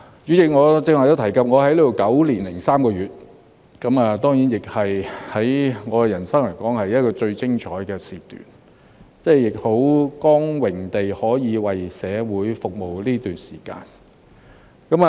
主席，我剛才都提及，我在這裏9年零3個月，對我的人生來說，是最精彩的時段，我亦感到很光榮，可以在這段時間為社會服務。